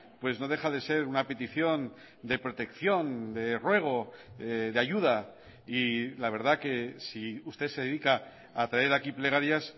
pues no deja de ser una petición de protección de ruego de ayuda y la verdad que si usted se dedica a traer aquí plegarias